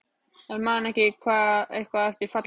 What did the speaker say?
En man hann eitthvað eftir fallinu?